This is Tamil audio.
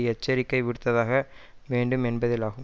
எச்சரிக்கை விடுத்தாக வேண்டும் என்பதிலாகும்